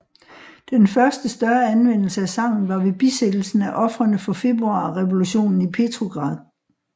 Den første større anvendelse af sangen var ved bisættelsen af ofrene for Februarrevolutionen i Petrograd